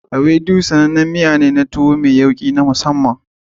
Ewedu sanannen miya ne don tuwo kuma an san shi da yawki na masamman.